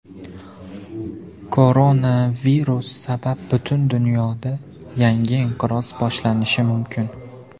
Koronavirus sabab butun dunyoda yangi inqiroz boshlanishi mumkin.